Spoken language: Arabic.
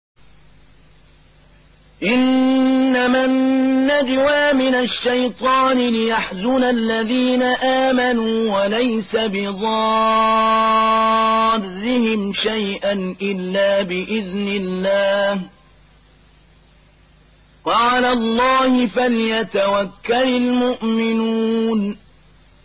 إِنَّمَا النَّجْوَىٰ مِنَ الشَّيْطَانِ لِيَحْزُنَ الَّذِينَ آمَنُوا وَلَيْسَ بِضَارِّهِمْ شَيْئًا إِلَّا بِإِذْنِ اللَّهِ ۚ وَعَلَى اللَّهِ فَلْيَتَوَكَّلِ الْمُؤْمِنُونَ